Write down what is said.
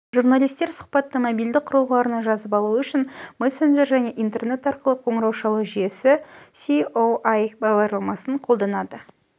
журналистер сұбатты мобильді құрылғыларына жазып алуы үшін мессенджер және интернет арқылы қоңырау шалу жүйесі еесое бағдарламасын қолданады